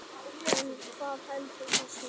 En hvað veldur þessu?